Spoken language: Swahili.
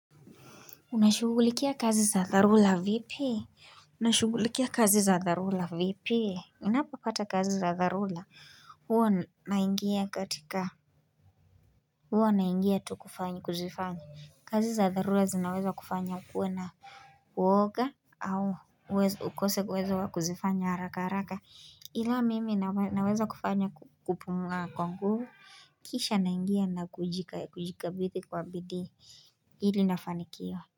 Unashugulikia kazi za dharula vipi? Unashugulikia kazi za dharula vipi? Unapata kazi za dharula hua naingia katika hua naingia tu kufanya kuzifanya kazi za dharula zinaweza kufanya ukuwe na uwoga au ukose uwezo kuzifanya haraka haraka ila mimi naweza kufanya kupumua kwa nguvu Kisha naingia na kujika kujikabithi kwa bidii ili nafanikiwa.